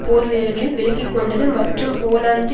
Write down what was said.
போர்வீரர்களையும் விலக்கி கொண்டது மற்றும் போலந்து